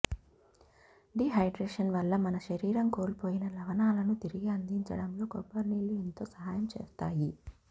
dehydration వల్ల మన శరీరం కోల్పోయిన లవణాలను తిరిగి అందించడంలో కొబ్బరినీళ్లు ఎంతో సహాయం చేస్తాయి